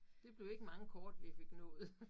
Det blev ikke mange kort vi fik nået